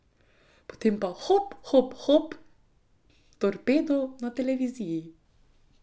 Potem pa hop, hop, hop, torpedo na televiziji.